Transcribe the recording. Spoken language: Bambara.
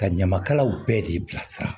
Ka ɲamakalaw bɛɛ de bilasira